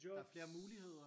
Der er flere muligheder